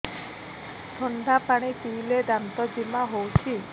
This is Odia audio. ଥଣ୍ଡା ପାଣି ପିଇଲେ ଦାନ୍ତ ଜିମା ହଉଚି